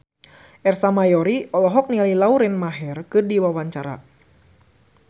Ersa Mayori olohok ningali Lauren Maher keur diwawancara